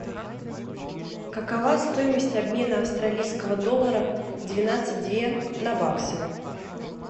какова стоимость обмена австралийского доллара двенадцать две на баксы